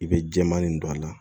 I bɛ jɛman nin don a la